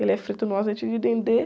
Ele é frito no azeite de dendê.